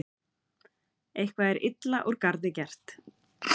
Eitthvað er illa úr garði gert